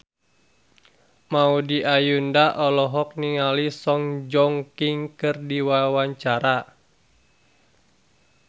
Maudy Ayunda olohok ningali Song Joong Ki keur diwawancara